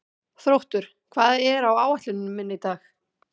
Þróttur, hvað er á áætluninni minni í dag?